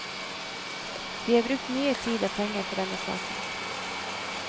Vi har brukt mye tid og penger på denne saken.